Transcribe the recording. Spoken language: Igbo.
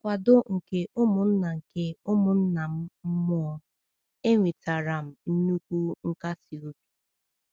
Na nkwado nke ụmụnna nke ụmụnna m mmụọ, enwetara m nnukwu nkasi obi.